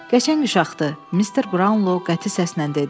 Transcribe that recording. Qəşəng uşaqdır, Mister Brownlow qəti səslə dedi.